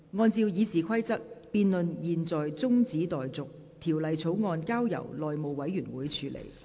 按照《議事規則》，辯論現在中止待續，條例草案交由內務委員會處理。